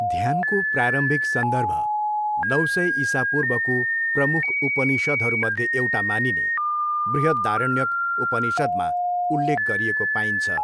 ध्यानको प्रारम्भिक सन्दर्भ नौ सय इसापूर्वको प्रमुख उपनिषदहरूमध्ये एउटा मानिने बृहदारण्यक उपनिषदमा उल्लेख गरिएको पाइन्छ।